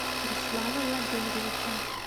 руслана владимировича